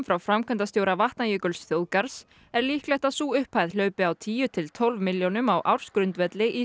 frá framkvæmdastjóra Vatnajökulsþjóðgarðs er líklegt að sú upphæð hlaupi á tíu til tólf milljónum á ársgrundvelli í